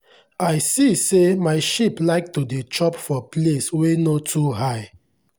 i see say my sheep like to dey chop for place wey no too high.